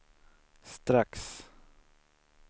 strax